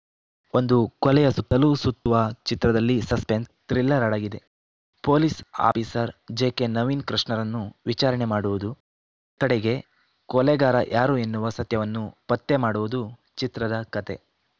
ಒಂದು ಕೊಲೆಯ ಸುತ್ತಲೂ ಸುತ್ತುವ ಚಿತ್ರದಲ್ಲಿ ಸಸ್ಪೆನ್ಸ್‌ ಥ್ರಿಲ್ಲರ್‌ ಅಡಗಿದೆ ಪೊಲೀಸ್‌ ಆಫೀಸರ್‌ ಜೆಕೆ ನವೀನ್‌ ಕೃಷ್ಣರನ್ನು ವಿಚಾರಣೆ ಮಾಡುವುದು ಕಡೆಗೆ ಕೊಲೆಗಾರ ಯಾರು ಎನ್ನುವ ಸತ್ಯವನ್ನು ಪತ್ತೆ ಮಾಡುವುದು ಚಿತ್ರದ ಕತೆ